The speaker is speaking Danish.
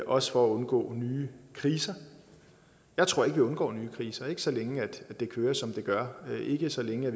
også for at undgå nye kriser jeg tror ikke vi undgår nye kriser ikke så længe det kører som det gør ikke så længe